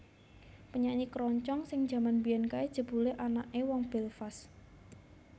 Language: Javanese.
Penyanyi keroncong sing jaman mbiyen kae jebule anake wong Belfast